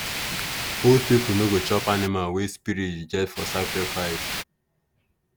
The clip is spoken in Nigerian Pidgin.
old people no go chop animal wey spirit reject for sacrifice.